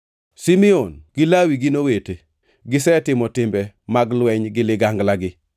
“Simeon gi Lawi gin owete, gisetimo timbe mag lweny gi liganglagi.